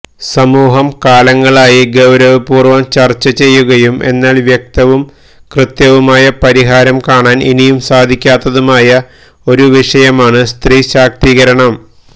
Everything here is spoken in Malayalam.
സമൂഹം കാലങ്ങളായി ഗൌരവപൂര്വം ചര്ച്ച ചെയ്യുകയും എന്നാല് വ്യക്തവും കൃത്യവുമായ പരിഹാരം കാണാന് ഇനിയും സാധിക്കാത്തതുമായ ഒരു വിഷയമാണ് സ്ത്രീശാക്തീകരണം